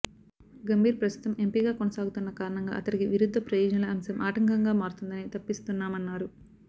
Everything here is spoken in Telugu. గంభీర్ ప్రస్తుతం ఎంపీగా కొనసాగుతున్న కారణంగా అతడికి విరుద్ధ ప్రయోజనాల అంశం ఆటంకంగా మారుతుందనే తప్పిస్తున్నామన్నారు